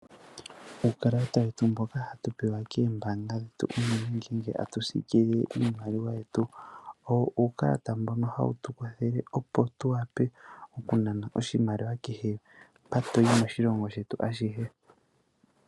Uukalata wetu mboka hatu pewa koombaanga dhetu unene ngele tatu siikilile iimaliwa yetu, owo uukalata mbono hawu tu kwathele opo tunane oshimaliwa, kehe mpa toyi moshilongo shetu.